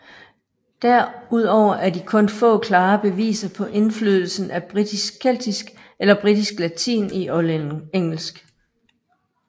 Derudover er de kun få klare beviser på indflydelsen af britisk keltisk eller britisk latin i oldengelsk